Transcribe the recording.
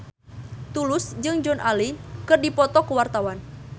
Tulus jeung Joan Allen keur dipoto ku wartawan